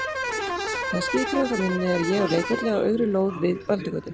Þegar ský dregur frá minni er ég á leikvelli á auðri lóð við Öldugötu.